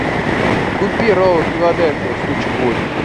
купи роллы филадельфия штучек восемь